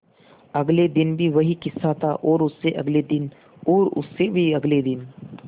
अगले दिन भी वही किस्सा था और उससे अगले दिन और उससे भी अगले दिन